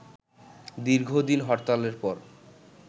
দীর্ঘ দিন হরতালের পর